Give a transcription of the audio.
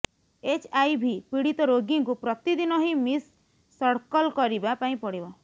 HIV ପୀଡିତ ରୋଗୀଙ୍କୁ ପ୍ରତିଦିନ ହିଁ ମିସସଡକଲ କରିବା ପାଇଁ ପଡିବ